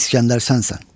İskəndər sənsən.